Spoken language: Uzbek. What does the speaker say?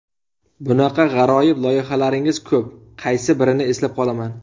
Bunaqa g‘aroyib loyihalaringiz ko‘p, qaysi birini eslab qolaman.